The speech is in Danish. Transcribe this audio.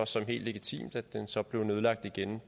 som helt legitimt at den så blev nedlagt igen